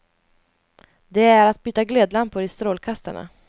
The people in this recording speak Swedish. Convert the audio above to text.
Det är att byta glödlampor i strålkastarna.